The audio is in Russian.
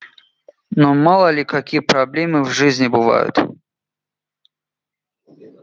ну мало ли какие проблемы в жизни бывают